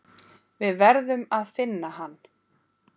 Við verðum að finna hann.